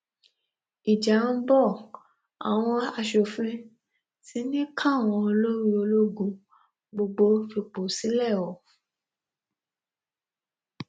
ìjà ń bọ àwọn asòfin ti ní káwọn olórí ológun gbogbo fipò sílẹ o